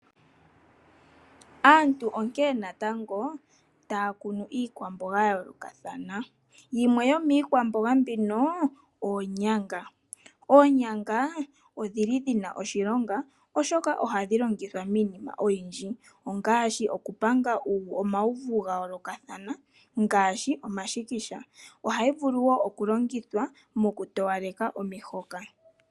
Aantu onkene natango taya kunu iikwamboga ya yoolokathana, yimwe yomiikwamboga mbino oonyanga. Oonyanga odhili dhina oshilonga oshoka ohadhi longithwa miinima oyindji, ongaashi okupanga omawuvu gayoolokathana ngaashi omashikisha, ohayi vulu wo okulongithwa mokutowaleka omihoka.